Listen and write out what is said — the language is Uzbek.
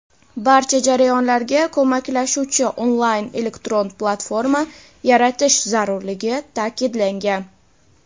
barcha jarayonlarga ko‘maklashuvchi onlayn elektron platforma yaratish zarurligi ta’kidlangan.